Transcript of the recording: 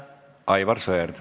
Aivar Sõerd.